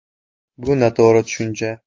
Bu noto‘g‘ri tushuncha.